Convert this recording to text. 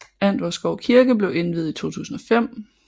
Antvorskov Kirke blev indviet i 2005